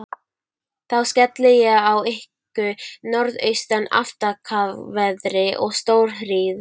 Þá skelli ég á ykkur norðaustan aftakaveðri og stórhríð.